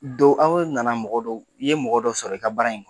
anw nana i ye mɔgɔ dɔw sɔrɔ i ka baara in